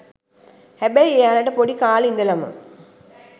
හැබැයි එයාලට පොඩි කාලේ ඉඳලම